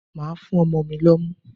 Màá fún ọmọ mi lọ́mú.